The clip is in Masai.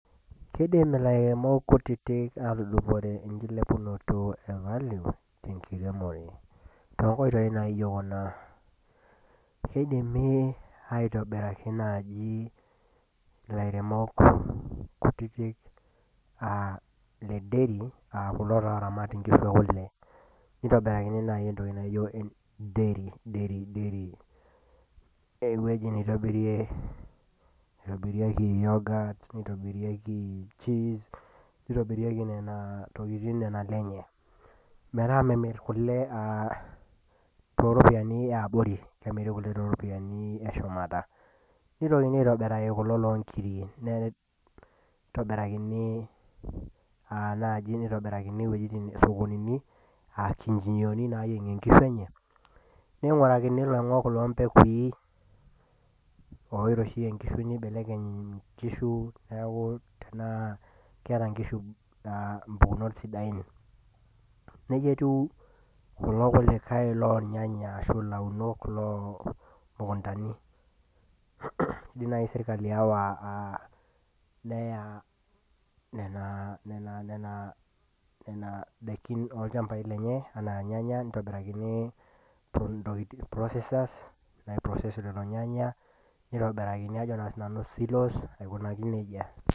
kidim ilairemok kutiti atudupore enkilepunoto e valio tenkiremore too nkoitooi naijo kuna kidimi aitobiraki naaji ilairemok kutiti naaji aa iledeiri kulo taa ooramat inkishu ekule nitobirakini naaji entoki naajio edeiri eweji neitobirieki yogot nitobirieki nena tokitin nena ile enye metaa memir kule too ropiyiani eyabori kemiri kule too ropiyiani eshumata ,nitokini aitobiraki kulo loo nkiri nitobirakini isokonini , aankinchichioni enye ning'urakini iloing'ok loo mbegui enye oiroshiyie inkishu nibelekeny inkisu metaa keeta inkishu impukunot sidain nejia etiu kulo kulikai loo irnyanya ,loo imukuntani kidim naaji sirkali awa neya nena dakin oo ilchambai lenye enaa inyanya nitobirakini processes' naipurosesie kulo nyanya.